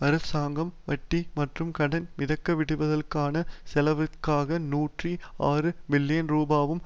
அரசாங்கம் வட்டி மற்றும் கடன் மிதக்கவிடுதலுக்கான செலவுக்காக நூற்றி ஆறு பில்லியன் ரூபாவுக்கு